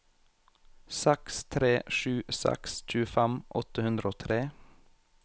seks tre sju seks tjuefem åtte hundre og tre